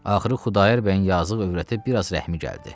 Axırı Xudayar bəyin yazıq övrətinə biraz rəhmi gəldi.